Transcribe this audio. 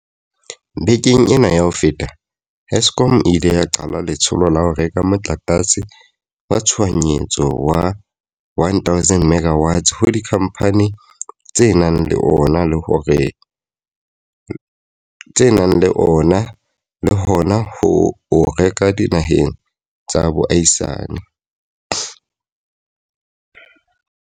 Bekeng ena ya ho feta, Eskom e ile ya qala letsholo la ho reka motlakase wa tshohanyetso wa 1 000 MW ho dikhamphane tse nang le ona le hona ho o reka dinaheng tsa boahisane.